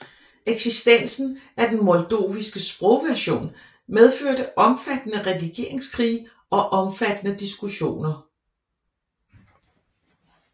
Eksistensen af den moldoviske sprogversion medførte omfattende redigeringskrige og omfattende diskussioner